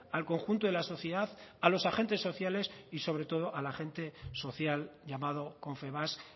al conjunto de la sociedad a los agentes sociales y sobre todo al agente social llamado confebask